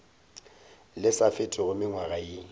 le sa fetego mengwaga ye